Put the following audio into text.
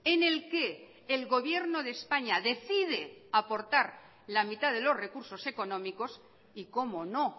en el que el gobierno de españa decide aportar la mitad de los recursos económicos y como no